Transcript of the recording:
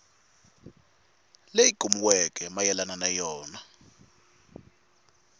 leyi kumiweke mayelana na yona